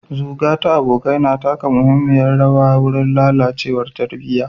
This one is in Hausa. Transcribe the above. Zuga ta abokai na taka muhimmiyar rawa wurin lalacewar tarbiyya.